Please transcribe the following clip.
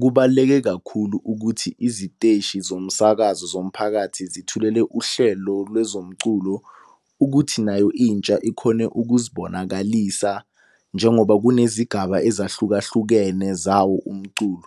Kubaluleke kakhulu ukuthi iziteshi zomsakazo zomphakathi zithulele uhlelo lwezomculo ukuthi nayo intsha ikhone ukuzibonakalisa, njengoba kunezigaba ezahlukahlukene zawo umculo.